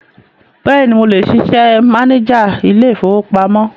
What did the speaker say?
Bẹ́ẹ̀ni, mo lè ṣiṣẹ́ máníjà ilé-ìfowópamọ́.